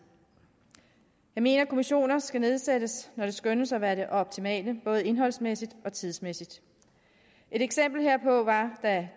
jeg mener at kommissioner skal nedsættes når det skønnes at være det optimale både indholdsmæssigt og tidsmæssigt et eksempel herpå er at